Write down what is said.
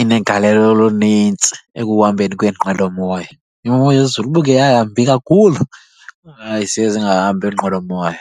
inegalelo olunintsi ekuhambeni kweeqwelomoya. Imo yezulu uba ike yambi kakhulu, hayi ziye zingahambi iinqwelomoya.